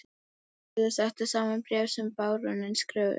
Sigurður setti saman bréf sem baróninn skrifaði undir.